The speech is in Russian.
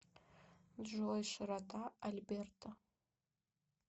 джой широта альберта